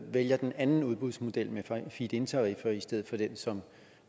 vælger den anden udbudsmodel med feed in tariffer i stedet for den som